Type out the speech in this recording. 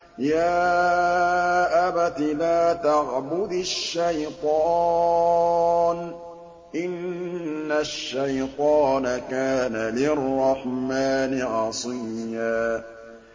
يَا أَبَتِ لَا تَعْبُدِ الشَّيْطَانَ ۖ إِنَّ الشَّيْطَانَ كَانَ لِلرَّحْمَٰنِ عَصِيًّا